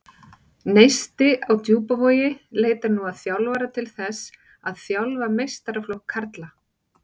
Neisti á Djúpavogi leitar nú að þjálfara til þess að þjálfa meistaraflokk karla.